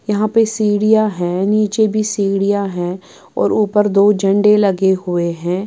यहां पे सीढ़ियां हैं नीचे भी सीढ़ियां हैं और ऊपर दो झंडे लगे हुए हैं।